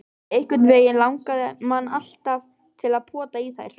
Einhvernveginn langaði mann alltaf til að pota í þær.